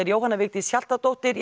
Jóhanna Vigdís Hjaltadóttir